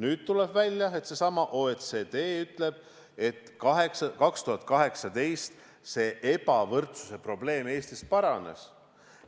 Nüüd tuleb välja, et seesama OECD ütleb, et 2018 ebavõrdsuse probleem Eestis paranes,